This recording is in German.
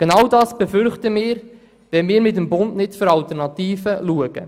Genau das befürchten wir, wenn wir mit dem Bund nicht nach Alternativen suchen.